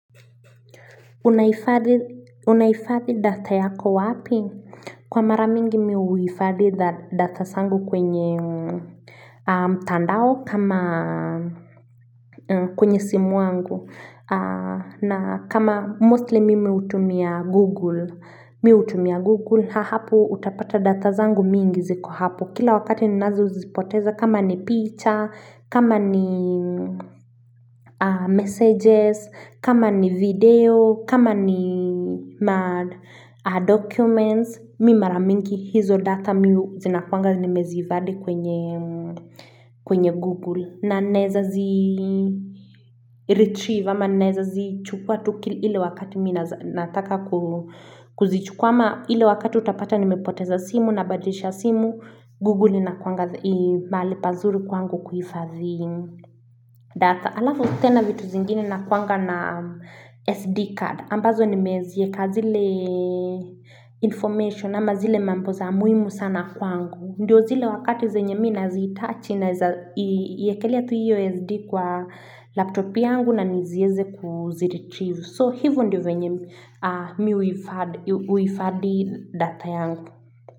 Unaifadhi data yako wapi? Kwa mara mingi mimi uifadhi data zangu kwenye mtandao kama kwenye simu wangu na kama mustli mimi utumia google ha hapo utapata data zangu mingi ziko hapo kila wakati ni nazo zipoteza kama ni picture kama ni messages kama ni video kama ni madocuments mi mara mingi hizo data zina kuanga nemeziifadhi kwenye google na neza zi retrieve ama neza zi chukua tuki ile wakati minataka kuzichukua ama ile wakati utapata nimepoteza simu na badilisha simu google na kuanga mahali pazuri kwangu kuifadhi data alafu tena vitu zingini na kuanga na sd card ambazo nimezieka zile kazi le information ama zile mambo za muhimu sana kwangu. Ndiyo zile wakati zenye mi naziitaji na iyekelia tu io SD kwa laptopi yangu na nizieze kuziretrieve. So hivo ndio venye mi uifadhi data yangu.